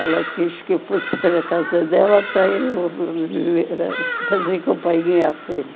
Ela quis que eu fosse para a casa dela para era eu fazer companhia à filha.